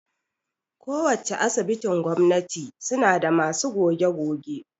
Ko wacce Asibitin gwamnati suna da masu goge-goge